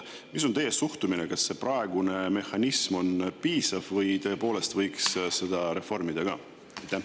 Mis on teie suhtumine, kas praegune mehhanism on piisav või tõepoolest võiks seda reformida ka?